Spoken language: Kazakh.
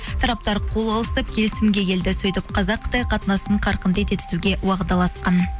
тараптар қол алысып келісімге келді сөйтіп қазақ қытай қатынасын қарқынды ете түсуге уағдаласқан